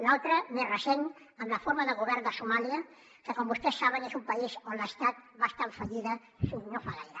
l’altre més recent amb la forma de govern de somàlia que com vostès saben és un país on l’estat va estar en fallida fins no fa gaire